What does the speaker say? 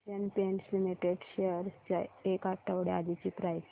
Asian Paints Limited shares ची एक आठवड्या आधीची प्राइस